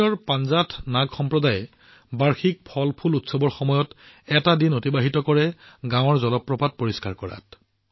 কাশ্মীৰৰ পাঞ্জাথ নাগ সম্প্ৰদায়ে বাৰ্ষিক ফলফুল উৎসৱৰ সময়ত গাঁৱক পৰিষ্কাৰ কৰাৰ বাবে এটা দিন অতিবাহিত কৰে